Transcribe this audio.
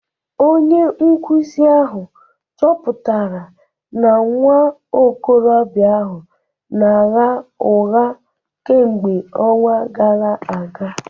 Onye nkụzi ahụ chọpụtara na nwa okorobịa ahụ na-agha ụgha kemgbe ọnwa gara aga